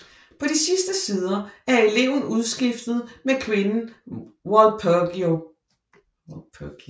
På de sidste sider er eleven udskiftet med kvinden Walpurgis